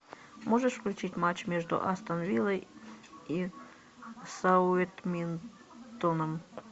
можешь включить матч между астон виллой и саутгемптоном